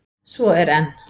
Svo er enn!